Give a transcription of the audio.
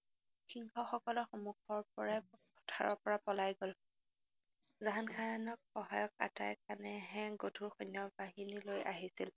সিংহসকলৰ সন্মুখৰপৰাই পথাৰৰপৰা পলাই গল, জাহানখানক সহায়ক আটাইখানে গধুৰ সৈন্যবাহনী লৈ আহিছিল।